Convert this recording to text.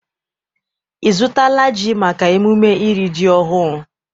Ị zụtala ji maka emume iri ji ọhụụ?